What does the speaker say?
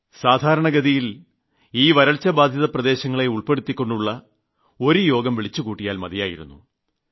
സാധാരണഗതിയിൽ ഈ വരൾച്ചബാധിത പ്രദേശങ്ങളെ ഉൾപ്പെടുത്തിക്കൊണ്ടുള്ള ഒരു യോഗം വിളിച്ചുകൂട്ടിയാൽ മതിയായിരുന്നു